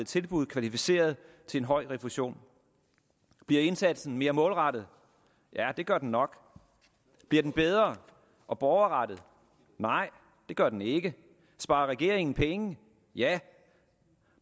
tilbud kvalificerede til en høj refusion bliver indsatsen mere målrettet ja det gør den nok bliver den bedre og borgerrettet nej det gør den ikke sparer regeringen penge ja